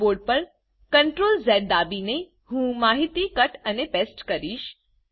keyboard પર CTRL X દાબીને હું માહિતી કટ અને પેસ્ટ કરીશ